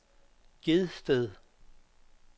Gedsted